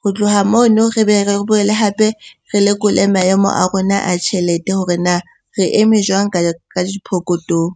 Ho tloha mono re be re boele hape re lekole maemo a rona a tjhelete hore na re eme jwang ka diphokothong?